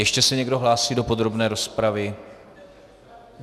Ještě se někdo hlásí do podrobné rozpravy?